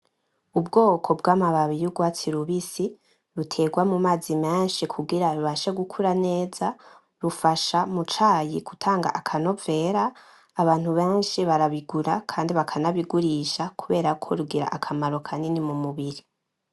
Ubwoko bwa mababi yurwasti rubisi ruterwa mu mazi menshi kugira rubashe gukura neza rufasha m’ucayi gutanga akanovera abantu benshi barabigura kandi bakana bigurisha kuberako bigira akamaro kanini mu mubiri.